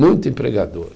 Muito empregador.